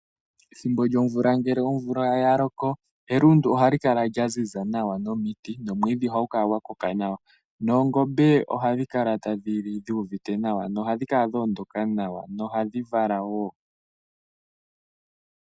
Ethimbo lyomvula ngele yaloko elundu ohali kala lyaziza nawa, omiti nomwiidhi ohadhi kala dhakoka nawa. Oongombe ohadhi kala tadhi napa dhuuvite nawa, ohadhi kala dhoondoka nawa nohadhi vala woo.